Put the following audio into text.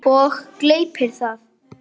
Og gleypir það.